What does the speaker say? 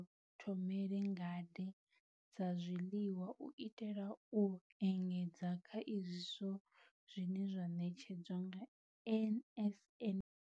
Vha ḓithomele ngade dza zwiḽiwa u itela u engedza kha izwo zwine zwa ṋetshedzwa nga NSNP.